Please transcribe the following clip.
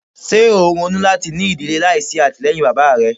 Ṣe o n ronu lati ni idile laisi atilẹyin baba rẹ? "